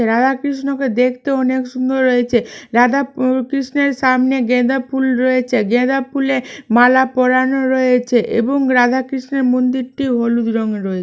রাধা কৃষ্ণ কে দেখতে অনেক সুন্দর হয়েছে রাধা কৃষ্ণের সামনে গাঁদা ফুল রয়েছে গাঁদা ফুলে মালা পড়ানো রয়েছে এবং রাধা কৃষ্ণের মন্দিরটি হলুদ রঙের রয়ে --